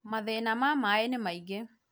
mathĩna ma maĩ nĩ maingĩ